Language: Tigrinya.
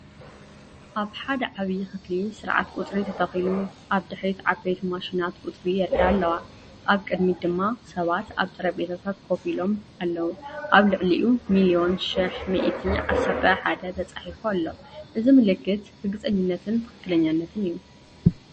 ኣብ ሓደ ዓብዪ ክፍሊ ስርዓት ቁፅሪ ተተኺሉ፤ ኣብ ድሕሪት ዓበይቲ ማሽናት ቁጽሪ የርእያ ኣለዋ፣ ኣብ ቅድሚት ድማ ሰባትኣብ ጠረጴዛታት ኮፍ ኢሎም ኣለዉ። ኣብ ልዕሊኡ ‘ሚልዮን፡ሽሕ፡ ሚእቲ፡ ዓሰርተ፡ ሓደ’ ተጻሒፉ ኣሎ። እዚ ምልክት ርግጸኝነትን ትኽክለኛነትን እዩ።